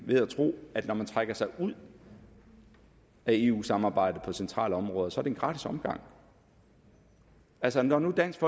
ved at tro at når man trækker sig ud af eu samarbejdet på centrale områder så er det en gratis omgang altså når nu dansk